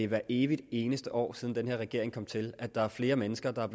hvert evig eneste år siden den her regering kom til er der flere mennesker der er